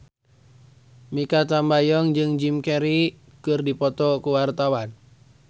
Mikha Tambayong jeung Jim Carey keur dipoto ku wartawan